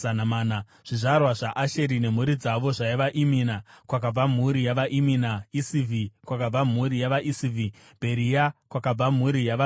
Zvizvarwa zvaAsheri nemhuri dzavo zvaiva: Imina, kwakabva mhuri yavaImina; Ishivhi, kwakabva mhuri yavaIshivhi; Bheria, kwakabva mhuri yavaBheria;